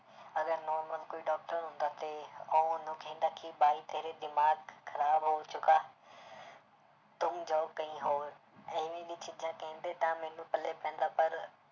ਅਗਰ normal ਕੋਈ doctor ਹੁੰਦਾ ਤੇ ਉਹ ਉਹਨੂੰ ਕਹਿੰਦਾ ਕਿ ਬਾਈ ਤੇਰੇ ਦਿਮਾਗ ਖ਼ਰਾਬ ਹੋ ਚੁੱਕਾ ਤੁਮ ਜਾਓ ਕਈ ਹੋਰ, ਇਵੇਂ ਦੀ ਚੀਜ਼ਾਂ ਕਹਿੰਦੇ ਤਾਂ ਮੈਨੂੰ ਪੱਲੇ ਪੈਂਦਾ ਪਰ